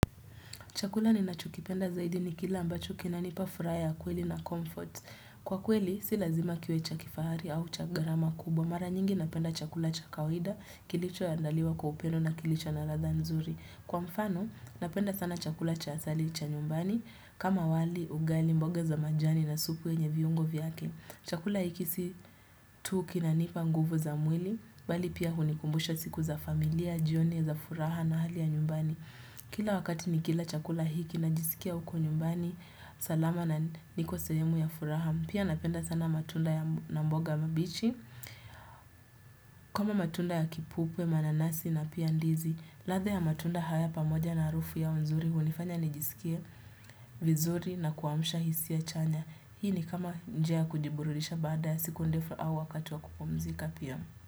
Chakula ninachokipenda zaidi ni kila ambacho kina nipa furaha kweli na comfort. Kwa kweli, si lazima kiwe cha kifahari au cha garama kubwa. Mara nyingi napenda chakula cha kawida, kilicho andaliwa kwa upendo na kilicho na ladha nzuri. Kwa mfano, na penda sana chakula cha asili cha nyumbani, kama wali, ugali, mboga za majani na supu wenye viungo vyake. Chakula hiki si tu kinanipa nguvu za mwili, bali pia hunikumbusha siku za familia, jioni za furaha na hali ya nyumbani. aKila wakati nikila chakula hiki na jisikia niko nyumbani salama na niko sahemu ya furaha pia napenda sana matunda na maboga mabichi kama matunda ya kipupwe, mananasi na pia ndizi ladha ya matunda haya pamoja na arufu yao nzuri unifanya nijisikie vizuri na kuamsha hisia chanya hii ni kama njia ya kujiburudisha baada ya siku ndefu au wakati wa kupumzika pia.